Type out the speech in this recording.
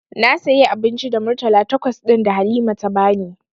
Na sayi abinci da murtala takwas ɗin da Halima ta bani.